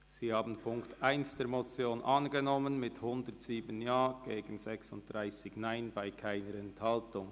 Sie haben die Ziffer 1 der Motion angenommen mit 107 Ja- gegen 36 Nein-Stimmen bei keiner Enthaltung.